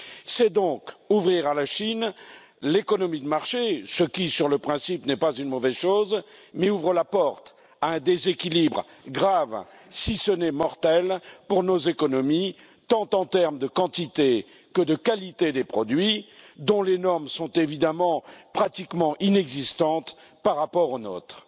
C'est donc ouvrir l'économie de marché à la Chine, ce qui, sur le principe, n'est pas une mauvaise chose mais ce qui ouvre la porte à un déséquilibre grave, si ce n'est mortel, pour nos économies, tant en terme de quantité que de qualité des produits, dont les normes sont évidemment pratiquement inexistantes par rapport aux nôtres.